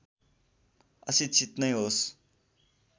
अशिक्षित नै होस्